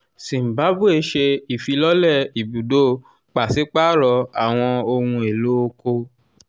zimbabwe ṣe ifilọlẹ ibudo paṣipaarọ awọn ohun elo oko.